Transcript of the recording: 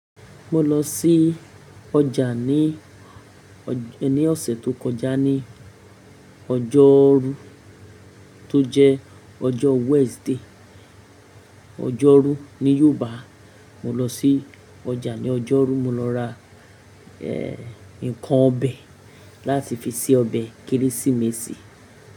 Mo lọ sí ọjà ní ọ̀sẹ̀ tó kọjá ní ọjọ́rú tó jẹ́ ọjọ́ Wednesday. Ọjọ́rú ní Yorùbá, mo lọ sí ọjà ní ọjọ́rú, mo lọ ra eh, ǹkan ọbẹ̀ láti fi se ọbẹ̀ Kérésìmesì.